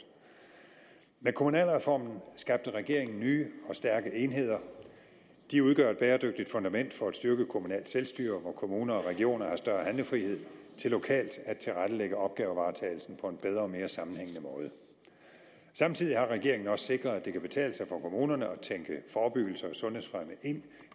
med kommunalreformen skabte regeringen nye og stærke enheder de udgør et bæredygtigt fundament for at styrke et kommunalt selvstyre hvor kommuner og regioner har større handlefrihed til lokalt at tilrettelægge opgavevaretagelsen på en bedre og mere sammenhængende måde samtidig har regeringen også sikret at det kan betale sig for kommunerne at tænke forebyggelse og sundhedsfremme ind